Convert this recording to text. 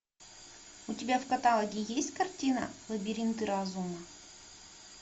у тебя в каталоге есть картина лабиринты разума